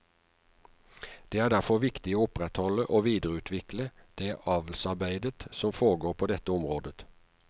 Det er derfor viktig å opprettholde og videreutrvikle det avlsarbeidet som foregår på dette området.